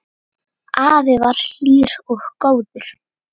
Afi var hlýr og góður.